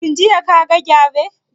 Shin jiya ka ga gyare?